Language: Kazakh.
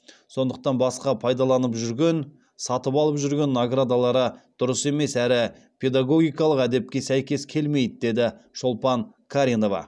сондықтан басқа пайдаланып жүрген сатып алып жүрген наградалары дұрыс емес әрі педагогикалық әдепке сәйкес келмейді деді шолпан қаринова